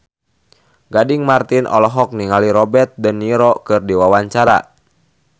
Gading Marten olohok ningali Robert de Niro keur diwawancara